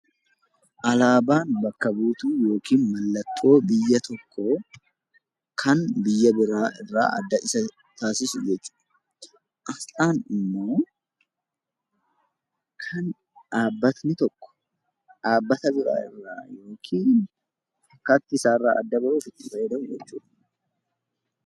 Alaabaan mallattoo yookaan bakka buutuu biyya tokkoo kan biyya biraa irraa adda Isa taasisu jechuudha. Asxaan immoo kan dhaabbanni tokko dhaabbata biroo irraa yookiin fakkaattii isaarraa adda bahuuf itti fayyadamu jechuudha